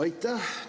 Aitäh!